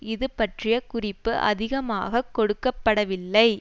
இதுபற்றிய குறிப்பு அதிகமாக கொடுக்க படவில்லை